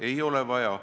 Ei ole vaja.